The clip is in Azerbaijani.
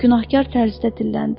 Günahkar tərzdə dilləndi.